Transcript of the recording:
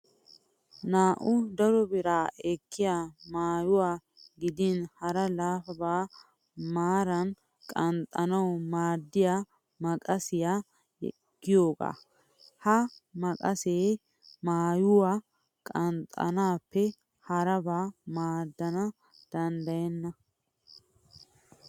Naa'u daro bira ekkiyaa maayyiwaa gidin hara laapaba maara qanxxanawu maaddiyaa maqasiyaa yaagiyoogaa. Ha maqasee maayyuwaa qanxxettaappe haraba maaddana danddayenna.